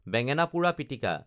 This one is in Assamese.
বেঙেনা পোৰা পিটিকা